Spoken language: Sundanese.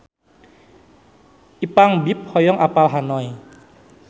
Ipank BIP hoyong apal Hanoi